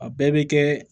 A bɛɛ bɛ kɛ